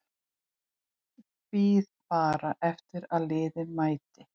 Bíð bara eftir að liðið mæti.